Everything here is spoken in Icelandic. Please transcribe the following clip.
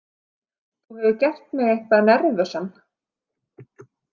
Þú hefur gert mig eitthvað nervösan.